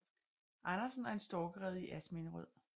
Andersen og en storkerede i Asminderød